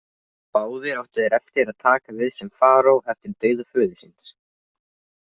Báðir áttu þeir eftir að taka við sem faraó eftir dauða föður síns.